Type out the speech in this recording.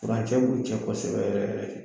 Furancɛ b'u cɛ kosɛbɛ yɛrɛ yɛrɛ de